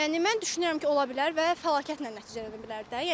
Yəni mən düşünürəm ki, ola bilər və fəlakətlə nəticələnə bilər də.